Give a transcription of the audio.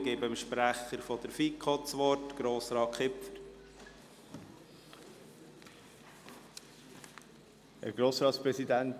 Ich gebe dem Sprecher der FiKo, Grossrat Kipfer, das Wort.